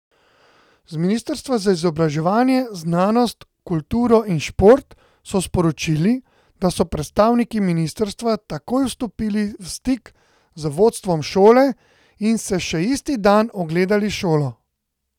Z ministrstva za izobraževanje, znanost, kulturo in šport so sporočili, da so predstavniki ministrstva takoj vstopili v stik z vodstvom šole in si še isti dan ogledali šolo.